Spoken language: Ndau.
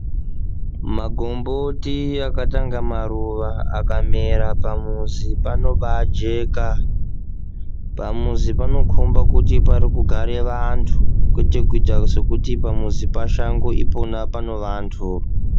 Mahomboti akatanga maruwa akamera pamuzi panobaa jeka pamuzi panokhombe kuti pari kugare vantu kwete kuite sekuti pamuzi pashango ipo pane vantu.